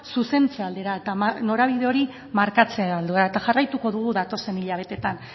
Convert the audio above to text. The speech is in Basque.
zuzentze aldera eta norabide hori markatze aldera eta jarraituko dugu datozen hilabeteetan